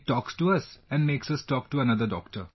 It talks to us and makes us talk to another doctor